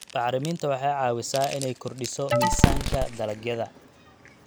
Bacriminta waxay caawisaa inay kordhiso miisaanka dalagyada.